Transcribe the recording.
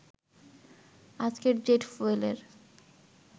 আজকের জেট ফুয়েলের